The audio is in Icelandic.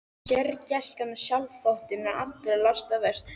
Sérgæskan og sjálfsþóttinn eru allra lasta verst.